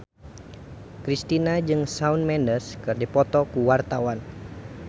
Kristina jeung Shawn Mendes keur dipoto ku wartawan